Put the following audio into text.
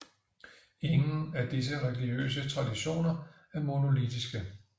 Ingen af disse religiøse traditioner er monolittiske